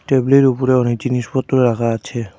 Table -এর উপরে অনেক জিনিসপত্র রাখা আছে।